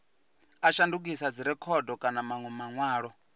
a shandukisa dzirekhodo kana manwe manwalo